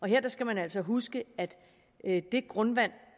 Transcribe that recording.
her skal man altså huske at det grundvand